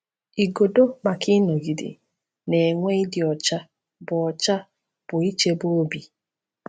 Igodo maka ịnọgide na-enwe ịdị ọcha bụ ọcha bụ ichebe obi.